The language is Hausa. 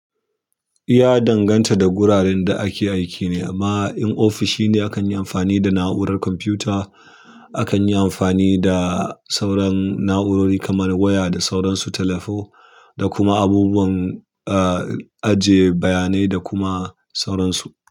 Ya danganta da guraren da ake aiki ne amma in ofishi ne akan yi amfani da na'urar kwamfuta. Akan yi amfani da sauran na'urori kamar waya da sauransu, telephone da kuma abubuwan, eh, aje bayanai da kuma sauransu.